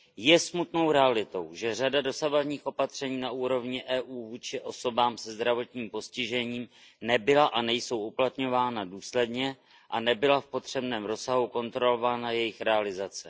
Je smutnou realitou, že řada dosavadních opatření na úrovni EU vůči osobám se zdravotním postižením nebyla a nejsou uplatňována důsledně a nebyla v potřebném rozsahu kontrolována jejich realizace.